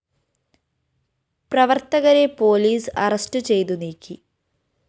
പ്രവര്‍ത്തകരെ പോലീസ് അറസ്റ്റുചെയ്ത് നീക്കി